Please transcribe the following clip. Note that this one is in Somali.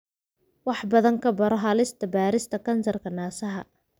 Wax badan ka baro halista baarista kansarka naasaha.